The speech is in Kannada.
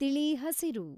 ತಿಳಿಿ ಹಸಿರು